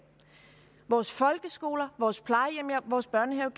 vores folkeskoler vores plejehjem vores børnehaver